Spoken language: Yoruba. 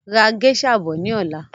Ra géṣà bọ̀ ni ọ̀la!